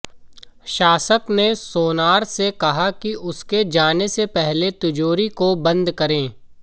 शासक ने सोनार से कहा कि उसके जाने से पहले तिजोरी को बंद करे